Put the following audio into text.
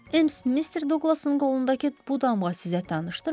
Miss Mister Duqlasın qolundakı bu damğa sizə tanışdırmı?